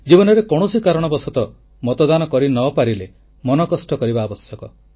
ଜୀବନରେ କୌଣସି କାରଣବଶତଃ ମତଦାନ କରି ନ ପାରିଲେ ମନ କଷ୍ଟ କରିବା ଆବଶ୍ୟକ